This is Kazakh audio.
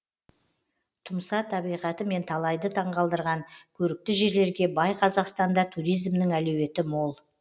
тұмса табиғатымен талайды таңғалдырған көрікті жерлерге бай қазақстанда туризмнің әлеуеті мол